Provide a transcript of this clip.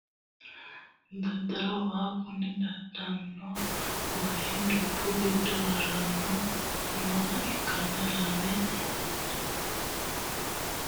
Daadano waa kuni daadano wayi dubbu gido harani nooha ikanna lame faronidayee mitowa ganbba yaani nooti misilete aana leelanoha ikano.